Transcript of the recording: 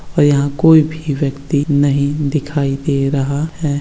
और यहाँ कोई भी व्यक्ति नहीं दिखाई दे रहा है।